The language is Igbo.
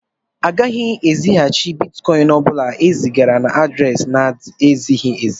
A gaghị ezighàchi Bịtkọin ọbula e zigara na adréési n'ezighị ézi